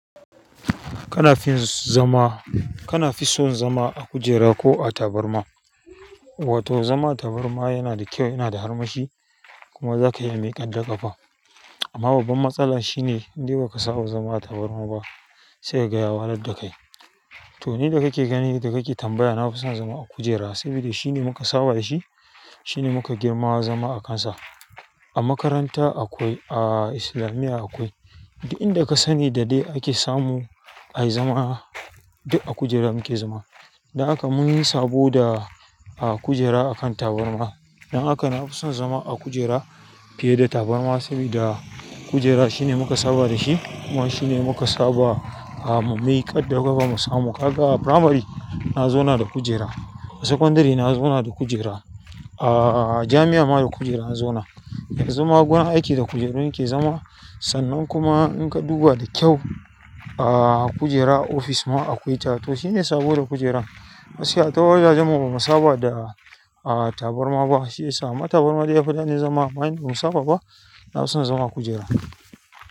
Kana fin zama, kana fison zama a kujera ko a tabarma? Wato zama a tabarma yana da kyau, yana da armashi kuma zaka iya miƙar da ƙafa amma babban matsala shine indai ba ka saba zama a tabarma ba, saika gaya wahalar dakai. To ni da kake gani, da kake tambaya, na fi son zama a kujera saboda shine muka saba da shi, shine muka girma zama a kansa. A makaranta akwai, a islamiya akwai. Duk inda ka sani da dai ake samu ayi zama, duk a kujera muke zama. Don haka munfi sabo da kujera akan tabarma dan haka na fi son zama a kujera fiye da tabarma sabida kujera shine muka saba da shi kuma shine muka saba a mu mi ƙaddafa mu samu. Ka ga a primary na zauna da kujera, a secondary na zauna da kujera, a jami'a ma da kujera na zauna. Yanzu ma gun aiki da kujeru na ke zama. Sannan kuma in ka duba da kyau, a kujera ofis ma akwai ta. To shine sabo da kujeran. Gaskiya ta wajajen mu bamu saba da a. Tabarma ba, shi ya sa ma tabarma dai ya fi daɗin zama amma ni ba mun saba ba. Na fi son zama a kujera.